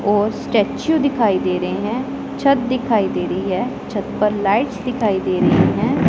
और स्टैचू दिखाई दे रहे हैं छत दिखाई दे रही हैं छत पर लाइट्स दिखाई दे रहीं हैं।